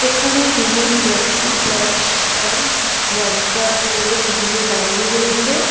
এখানে দুজন ব্যক্তি ব্ল্যাকস প্যান্ট হোয়াইট শার্ট পরে দুদিকে দাঁড়িয়ে রয়েছে।